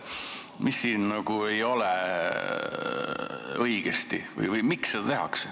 Mis siin nagu ei ole õigesti?